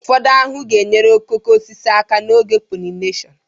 Ụfọdụ ahụhụ ga-enyere okooko osisi aka n'oge polinesun